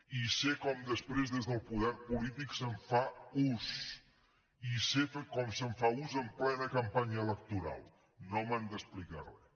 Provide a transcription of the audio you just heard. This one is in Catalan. i sé com després des del poder polític se’n fa ús i sé com se’n fa ús en plena campanya electoral no m’han d’explicar res